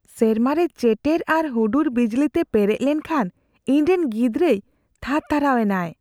ᱥᱮᱨᱢᱟᱨᱮ ᱪᱮᱴᱮᱨ ᱟᱨ ᱦᱩᱰᱩᱨ ᱵᱤᱡᱽᱞᱤᱛᱮ ᱯᱮᱨᱮᱡ ᱞᱮᱱᱠᱷᱟᱱ ᱤᱧᱨᱮᱱ ᱜᱤᱫᱽᱨᱟᱹᱭ ᱛᱷᱟᱨᱛᱷᱟᱨᱟᱣ ᱮᱱᱟᱭ ᱾